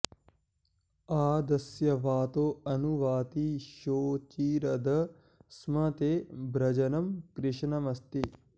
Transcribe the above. आदस्य वातो अनु वाति शोचिरध स्म ते व्रजनं कृष्णमस्ति